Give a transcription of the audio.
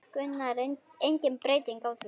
Gunnar: Engin breyting á því?